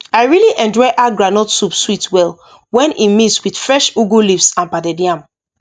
i really enjoy how groundnut soup sweet well when e mix with fresh ugu leaves and pounded yam